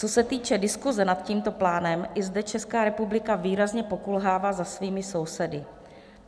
Co se týče diskuse nad tímto plánem, i zde Česká republika výrazně pokulhává za svými sousedy.